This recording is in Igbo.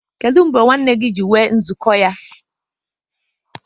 Kedụ mgbe ụmụnna gị ji enwe nzuko ya?